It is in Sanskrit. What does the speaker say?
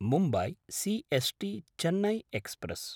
Mumbai C S टी–चेन्नै express